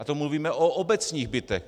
A to mluvíme o obecních bytech.